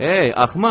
Ey axmaq!